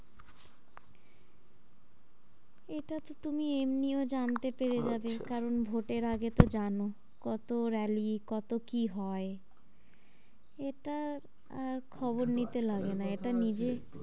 এটা তো তুমি এমনিও জানতে পেরে যাবে আচ্ছা আচ্ছা কারণ ভোটের আগে তো জানো কতো rally কতো কি হয় এটা আর খবর নিতে লাগেনা এটা নিজে,